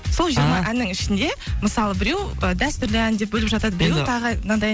сол жиырма әннің ішінде мысалы біреу і дәстүрлі ән деп бөліп жатады біреу тағы мынадай